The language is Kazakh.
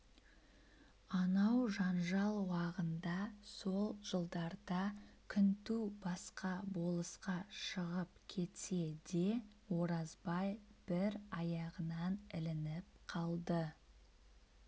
анау жанжал уағында сол жылдарда күнту басқа болысқа шығып кетсе де оразбай бір аяғынан ілініп қалды